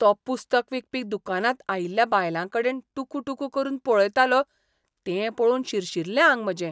तो पुस्तक विकपी दुकानांत आयिल्ल्या बायलांकडेन टुकूटुकू करून पळयतालो तें पळोवन शिरशिल्लें आंग म्हजें.